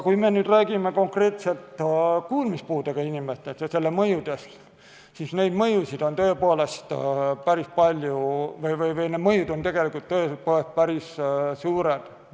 Kui me räägime aga konkreetselt kuulmispuudest ja selle mõjudest, siis neid mõjusid on tõepoolest päris palju või need mõjud on tegelikult päris suured.